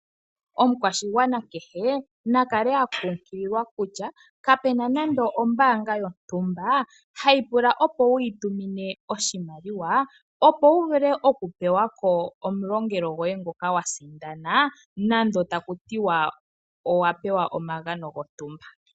Omukwashigwana kehe nakale akunkililwa kutya kapuna nande ombaanga yontumba hayi pula opo wuyi tumine oshimaliwa, opo wu vule oku pewa ko omulongelo goye ngoka wa sindana nando taku ti wa owa pewa omagano gontumba.